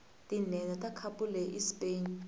tinhenha takhapuleyi ispain